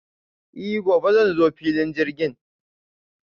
I gobe zan zo filin jirgin.